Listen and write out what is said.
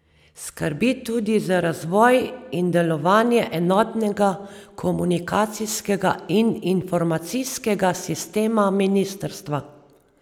Skrbi tudi za razvoj in delovanje enotnega komunikacijskega in informacijskega sistema ministrstva.